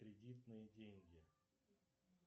кредитные деньги